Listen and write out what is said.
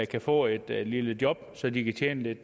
kan få et lille job så de kan tjene